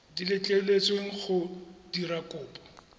di letleletsweng go dira kopo